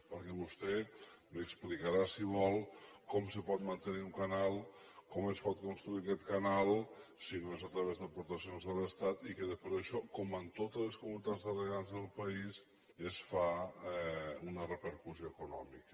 perquè vostè m’explicarà si vol com es pot mantenir un canal com es pot construir aquest canal si no és a través d’aportacions de l’estat i que després d’això com en totes les comunitats de regants del país se’n fa una repercussió econòmica